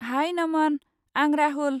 High, Naman! आं राहुल।